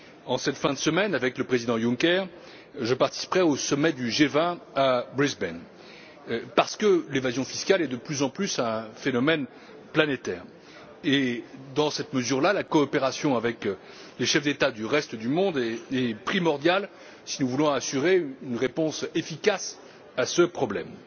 En cette fin de semaine, avec le président Juncker, je participerai au sommet du G20 à Brisbane, parce que l'évasion fiscale est, de plus en plus, un phénomène planétaire et, à ce titre, la coopération avec les chefs d'État du reste du monde est primordiale si nous voulons apporter une réponse efficace à ce problème.